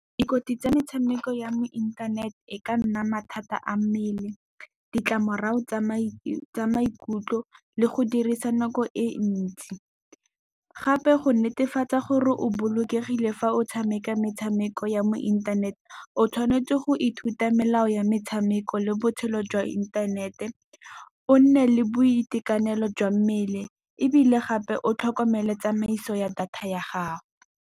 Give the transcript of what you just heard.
Dikotsi tsa metshameko ya mo inthaneteng e ka nna mathata a mmele, ditlamorago tsa maikutlo le go dirisa nako e ntsi. Gape go netefatsa gore o bolokegile fa o ee ke metshameko ya mo inthanete, o tshwanetse go ithuta melao ya metshameko le botshelo jwa inthanete. O nne le boitekanelo jwa mmele ebile gape o tlhokomele tsamaiso ya data ya gago.